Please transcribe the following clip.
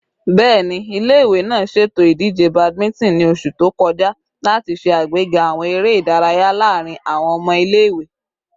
Bẹẹni, ile-iwe naa ṣeto idije badminton ni oṣu to kọja lati ṣe agbega awọn ere idaraya laarin awọn ọmọ ile-iwe